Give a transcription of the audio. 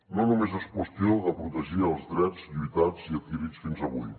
no només és qüestió de protegir els drets lluitats i adquirits fins avui